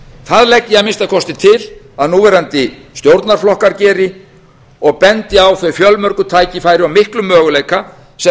það legg ég að minnsta kosti til að núverandi stjórnarflokkar geri og bendi á þau fjölmörgu tækifæri og miklu möguleika sem